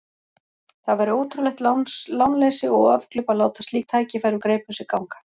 Það væri ótrúlegt lánleysi og afglöp að láta slík tækifæri úr greipum sér ganga.